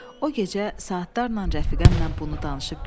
O gecə saatlarla rəfiqəmlə bunu danışıb güldük.